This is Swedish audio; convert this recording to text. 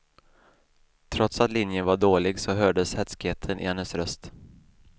Trots att linjen var dålig så hördes hätskheten i hennes röst.